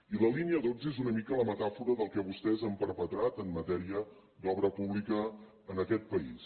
i la línia dotze és una mica la metàfora del que vostès han perpetrat en matèria d’obra pública en aquest país